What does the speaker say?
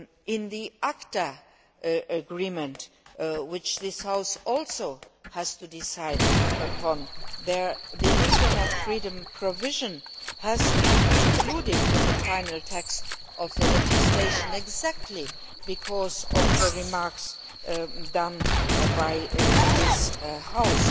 In the ACTA agreement, which this House also has to decide upon, the internet freedom provision has been included in the final text of the legislation precisely because of the remarks made by this House,